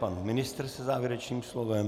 Pan ministr se závěrečným slovem.